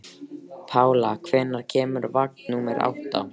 Pála, hvenær kemur vagn númer átta?